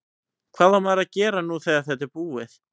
Hvað á maður svo að gera nú þegar þetta er búið?